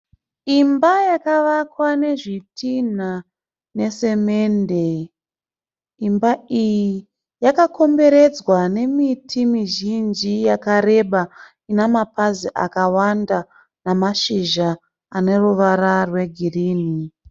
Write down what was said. Imba yakavakwa nezvitinha nesemende. Imba iyi yakakomberedzwa nemiti mizhinji yakareba ina mapazi akawanda ane mashizha ane ruvara rwegirini.